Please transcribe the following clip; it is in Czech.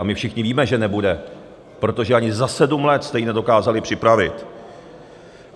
A my všichni víme, že nebude, protože ani za sedm let jste ji nedokázali připravit.